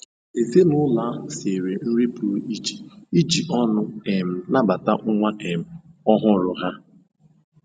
Ezinụlọ ahụ siere nri pụrụ iche iji ọṅụ um nabata nwa um ọhụrụ ha.